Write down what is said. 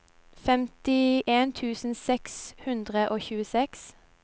femtien tusen seks hundre og tjueseks